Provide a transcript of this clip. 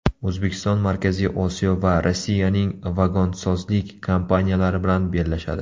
O‘zbekiston Markaziy Osiyo va Rossiyaning vagonsozlik kompaniyalari bilan bellashadi.